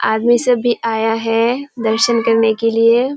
आदमी सब भी आया है दर्शन करने के लिए।